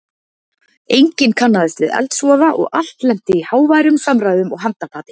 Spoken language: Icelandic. Enginn kannaðist við eldsvoða og allt lenti í háværum samræðum og handapati.